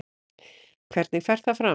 Hvernig fer það fram?